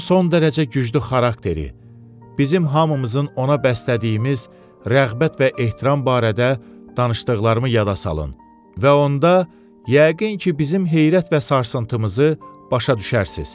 Onun son dərəcə güclü xarakteri, bizim hamımızın ona bəslədiyimiz rəğbət və ehtiram barədə danışdıqlarımı yada salın və onda yəqin ki, bizim heyrət və sarsıntımızı başa düşərsiz.